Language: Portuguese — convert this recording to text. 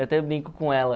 Eu até brinco com ela.